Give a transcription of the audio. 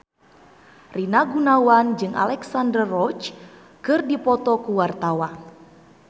Rina Gunawan jeung Alexandra Roach keur dipoto ku wartawan